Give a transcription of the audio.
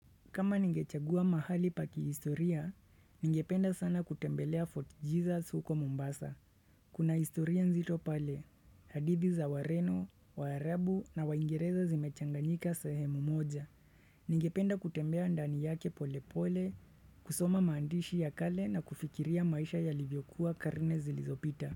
Kama ningechagua mahali pa kihistoria, ningependa sana kutembelea Fort Jesus huko Mombasa. Kuna historia nzito pale, hadidhi za wareno, waarabu na waingireza zimechanganika sehemu moja. Ningependa kutembea ndani yake pole pole, kusoma mandishi ya kale na kufikiria maisha yalivyokuwa karne zilizopita.